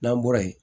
N'an bɔra yen